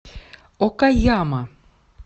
окаяма